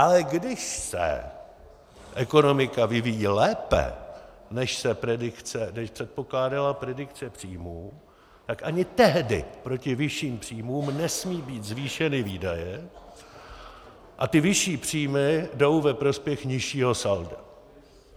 Ale když se ekonomika vyvíjí lépe, než předpokládala predikce příjmů, tak ani tehdy proti vyšším příjmům nesmí být zvýšeny výdaje a ty vyšší příjmy jdou ve prospěch nižšího salda.